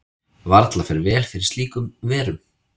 Varla fer vel fyrir slíkur verum.